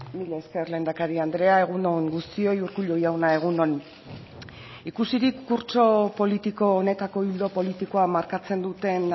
mila esker lehendakari andrea egun on guztioi urkullu jauna egun on ikusirik kurtso politiko honetako ildo politikoa markatzen duten